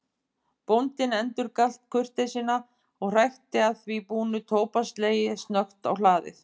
Bóndinn endurgalt kurteisina og hrækti að því búnu tóbakslegi snöggt á hlaðið.